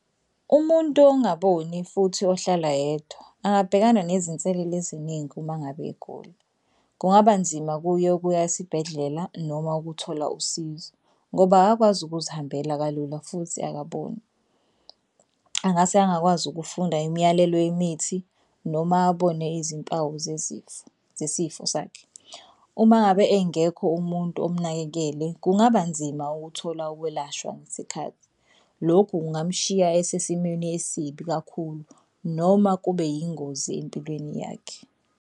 Umuntu ongaboni futhi ohlala yedwa angabhekana nezinselelo eziningi uma ngabe egula. Kungaba nzima kuye ukuya esibhedlela noma ukuthola usizo ngoba akakwazi ukuzihambela kalula futhi akaboni. Angase angakwazi ukufunda imiyalelo yemithi noma abone izimpawu zezifo zesifo sakhe. Uma ngabe engekho umuntu omnakekele kungaba nzima ukuthola ukwelashwa ngesikhathi. Lokhu kungamshiya esesimeni esibi kakhulu noma kube yingozi empilweni yakhe.